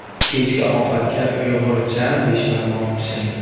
Kechki ovqatga uyg‘urcha beshbarmoq pishiring.